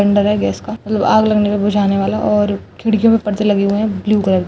Cylinder है gas का मतलब आग लगने में बुझाने वाला और खिड़कियों में पर्दे लगे हुए है ब्लू कलर के।